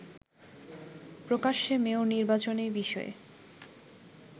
প্রকাশ্যে মেয়র নির্বাচনে বিষয়ে